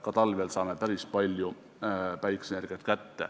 Ka talvel saame päris palju päikeseenergiat kätte.